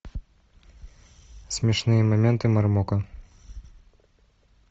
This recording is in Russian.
смешные моменты мармока